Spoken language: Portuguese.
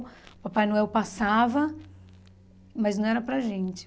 Papai Noel passava, mas não era para gente.